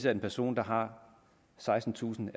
en person der har sekstentusind